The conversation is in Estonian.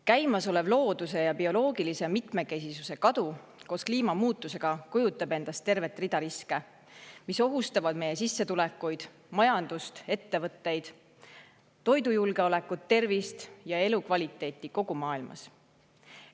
Käimasolev looduse ja bioloogilise mitmekesisuse kadu koos kliimamuutusega kujutab endast tervet rida riske, mis ohustavad sissetulekuid, majandust, ettevõtteid, toidujulgeolekut, tervist ja elukvaliteeti kogu maailmas.